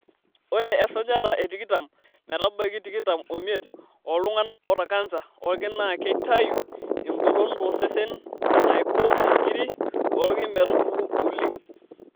Ore esajata e tikitam metabaiki tikitam omiet ooltung'ana oota kansa oolki na keitayu engolon tosesen naiko inkirri oolki metubulu oleng'.